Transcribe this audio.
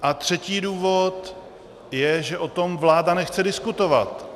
A třetí důvod je, že o tom vláda nechce diskutovat.